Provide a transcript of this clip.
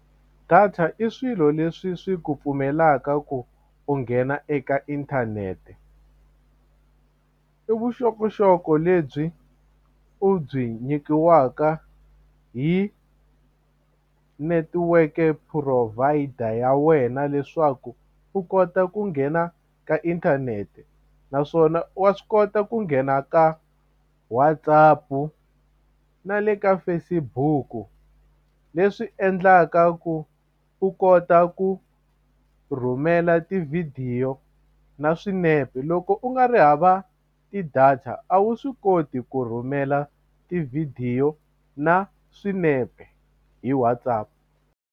Data i swilo leswi swi ku pfumelaka ku u nghena eka inthanete i vuxokoxoko lebyi u byi nyikiwaka hi netiweke provider ya wena leswaku u kota ku nghena ka inthanete naswona wa swi kota ku nghena ka WhatsApp u na le ka Facebook-u leswi endlaka ku u kota ku rhumela tivhidiyo na swinepe loko u nga ri hava ti-data a wu swi koti ku rhumela tivhidiyo na swinepe hi WhatsApp.